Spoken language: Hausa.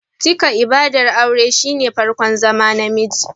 Cika ibadar aure shine farkon zama Namiji